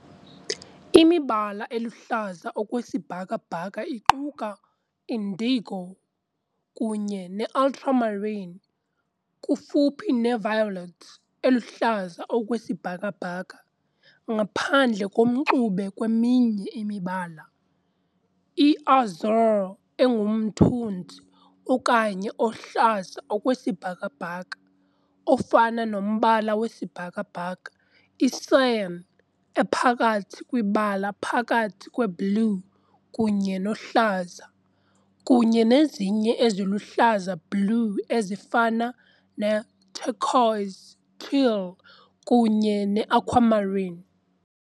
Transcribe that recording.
Imibala eluhlaza okwesibhakabhaka iquka indigo kunye ne-ultramarine, kufuphi ne-violet, eluhlaza okwesibhakabhaka, ngaphandle komxube kweminye imibala, I-Azure, engumthunzi okhanye ohlaza okwesibhakabhaka, ofana nombala wesibhakabhaka, I-Cyan, ephakathi kwibala phakathi kweblue kunye nohlaza, kunye nezinye eziluhlaza-blue ezifana ne-turquoise, teal, kunye ne-aquamarine.